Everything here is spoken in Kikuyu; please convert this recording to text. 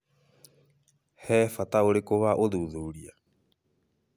He bata ũrĩkũ wa ũthuthuria?